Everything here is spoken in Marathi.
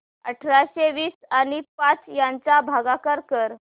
अठराशे वीस आणि पाच यांचा भागाकार कर